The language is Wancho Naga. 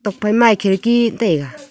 tuak phai ma khirki tai ga.